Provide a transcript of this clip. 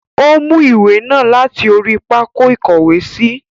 O mú ìwé náà láti orí pákó ìkówèésí.